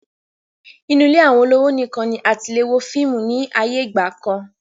Inu ilé àwọn olówò nìkan ni a tilè wo fíìmù ni ayé ìgbàkan